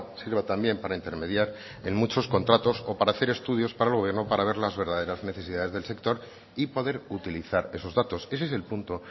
sirva también para intermediar en muchos contratos o para hacer estudios para el gobierno para ver las verdaderas necesidades del sector y poder utilizar esos datos ese es el punto